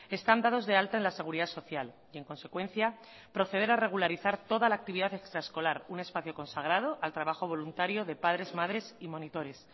están dados de alta en la seguridad social y en consecuencia proceder a regularizar toda la actividad extraescolar un espacio consagrado al trabajo voluntario de padres madres y monitores